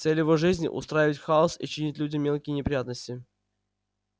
цель его жизни устраивать хаос и чинить людям мелкие неприятности